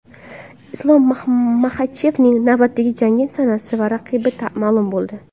Islom Maxachevning navbatdagi jangi sanasi va raqibi ma’lum bo‘ldi.